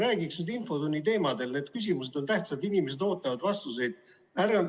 Räägiks nüüd infotunni teemadel, need küsimused on tähtsad, inimesed ootavad vastuseid.